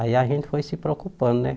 Aí a gente foi se preocupando, né?